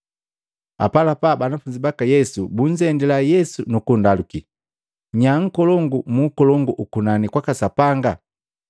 Apalapa banafunzi baka Yesu bunzendila, Yesu nu kunndaluki, “Nyaa nkolongu mu ukolongu ukunani kwaka Sapanga?”